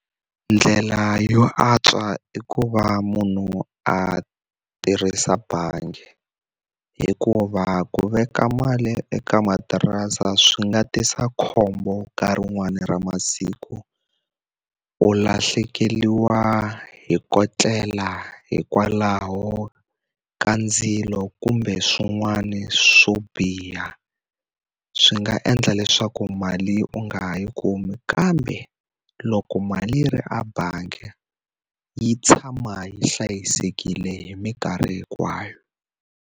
Ndlela yo antswa i ku va munhu a tirhisa bangi. Hikuva ku veka mali eka matirasi swi nga tisa khombo nkarhi wun'wani ra masiku. U lahlekeriwa hi ko tlela hikwalaho ka ndzilo kumbe swin'wana swo biha, swi nga endla leswaku mali u nga ha yi kumi. Kambe loko mali yi ri a bangi, yi tshama yi hlayisekile hi mikarhi hinkwayo.